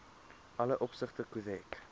alle opsigte korrek